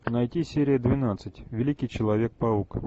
найти серия двенадцать великий человек паук